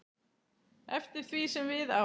eftir því sem við á.